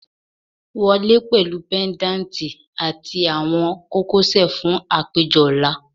Wọle pẹlu pendanti ati awọn kokosẹ fun apejọ ọla